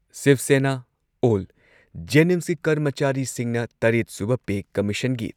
ꯁꯤꯕ ꯁꯦꯅꯥ ꯑꯣꯜ ꯖꯦꯅꯤꯝꯁꯀꯤ ꯀꯔꯃꯆꯥꯔꯤꯁꯤꯡꯅ ꯇꯔꯦꯠ ꯁꯨꯕ ꯄꯦ ꯀꯝꯃꯤꯁꯟꯒꯤ